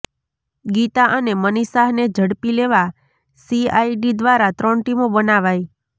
ગીતા અને મનીષ શાહને ઝડપી લેવા સીઆઈડી દ્વારા ત્રણ ટીમો બનાવાઈ